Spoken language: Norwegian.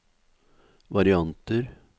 varianter